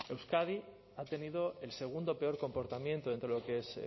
euskadi ha tenido el segundo peor comportamiento dentro de lo que es